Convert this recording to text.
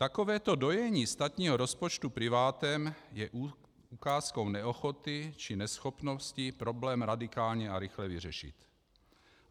Takovéto dojení státního rozpočtu privátem je ukázkou neochoty či neschopnosti problém radikálně a rychle vyřešit.